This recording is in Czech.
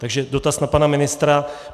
Takže dotaz na pana ministra.